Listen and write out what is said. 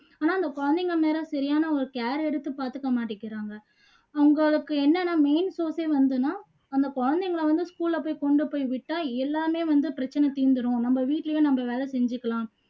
ஆனா அந்த குழந்தைங்க மேல சரியான ஒரு care எடுத்து பாத்துக்க மாட்டிக்குறாங்க அவங்களுக்கு என்னன்னா main அந்த குழந்தைங்களை வந்து school ல போயி கொண்டு போயி விட்டா எல்லாமே வந்து பிரச்சை தீந்துடும் நம்ம வீட்டுலயும் நம்ம வேலை செஞ்சுக்கலாம்